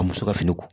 A muso ka fini ko